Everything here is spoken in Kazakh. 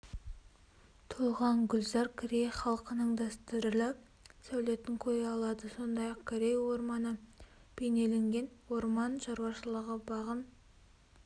тоған гүлзар корей халқының дәстүрлі сәулетін көре алады сондай-ақ корей орманы бейнеленген орман шаруашылығы бағын